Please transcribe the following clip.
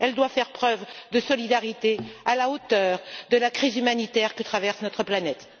Elle doit faire preuve de solidarité à la hauteur de la crise humanitaire que traverse notre planète.